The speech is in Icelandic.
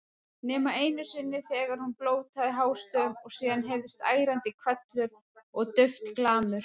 Nema einu sinni þegar hún blótaði hástöfum og síðan heyrðist ærandi hvellur og dauft glamur.